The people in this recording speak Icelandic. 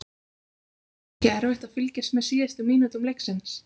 En var ekki erfitt að fylgjast með síðustu mínútum leiksins?